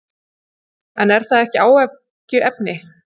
En er það ekki áhyggjuefni?